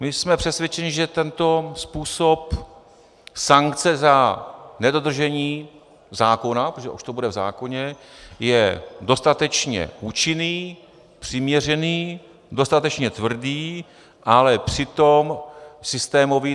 My jsme přesvědčeni, že tento způsob sankce za nedodržení zákona, protože už to bude v zákoně, je dostatečně účinný, přiměřený, dostatečně tvrdý, ale přitom systémový.